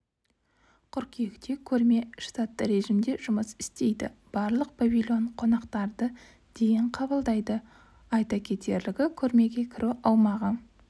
қыркүйекте көрме штатты режимде жұмыс істейді барлық павильон қонақтарды дейін қабылдайды айта кетерлігі көрмеге кіру аумағы